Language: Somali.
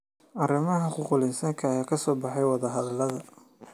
Arrimaha xuquuqul insaanka ayaa ka soo baxay wadahadallada.